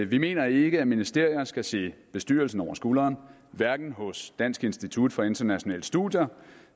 vi mener ikke at ministerier skal se bestyrelsen over skulderen hverken hos dansk institut for internationale studier